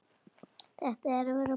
Þetta er búið að vera.